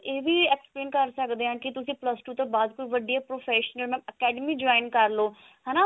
ਇਹ ਵੀ explain ਕਰ ਸਕਦੇ ਹਾਂ ਕੀ ਤੁਸੀਂ plus two ਤੋਂ ਬਾਅਦ ਕੋਈ ਵੱਡੀ professional academy join ਕਰ ਲਓ